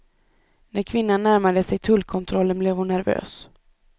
När kvinnan närmade sig tullkontrollen blev hon nervös.